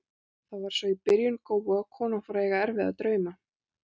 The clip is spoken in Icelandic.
Það var svo í byrjun góu, að konan fór að eiga erfiða drauma.